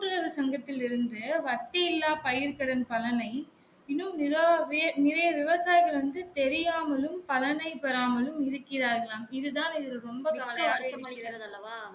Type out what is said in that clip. கூட்டுறவு சங்கத்தில் இருந்து வட்டி இல்லா பயிர் கடன் பலனை இன்னும் நிறைய பெரு நிறைய விவசாயிகள் வந்து தெரியாமலும் கடனை பெறாமலும் இருக்கிறார்கலாம் இது தான் இதில் ரொம்ப கவலையாக இருக்கிறது